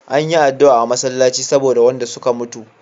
Anyi adua a masallaci saboda wanda suka mutu